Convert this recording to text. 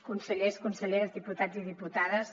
consellers conselleres diputats i diputades